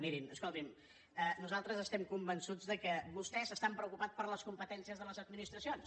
mirin escoltin nosaltres estem convençuts que vostès estan preocupats per les competències de les administracions